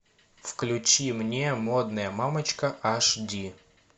включи мне модная мамочка аш ди